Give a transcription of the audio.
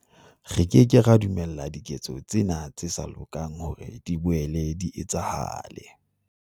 Re ke ke ra dumella diketso tsena tse sa lokang hore di boele di etsahale.